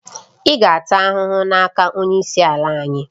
Ị ga-ata ahụhụ n'aka onye isi ala anyị